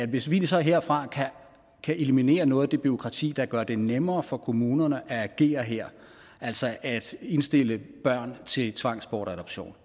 hvis vi så herfra kan eliminere noget af det bureaukrati der gør det nemmere for kommunerne at agere her altså at indstille børn til tvangsbortadoption